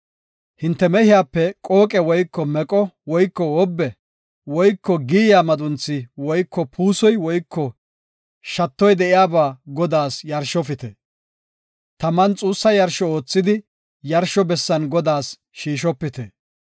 Hinte mehiyape qooqe woyko meqo woyko wobbe woyko giyiya madunthi woyko puusoy woyko shattoy de7iyaba Godaas yarshofite. Taman xuussa yarsho oothidi yarsho bessan Godaas shiishopite.